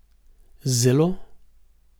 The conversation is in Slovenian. Zelo.